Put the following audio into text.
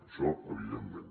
això evidentment